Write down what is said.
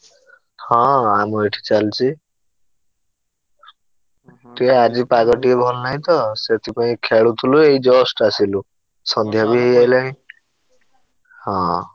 ହଁ ଆମ ଏଠି ଚାଲିଛି ଟିକେ ଆଜି ପାଗ ଟିକେ ଭଲ ନାହିଁ ତ ସେଥିପାଇଁ ଖେଳୁଥିଲୁ ଏଇ just ଆସିଲୁ ସନ୍ଧ୍ୟା ବି ହଁ।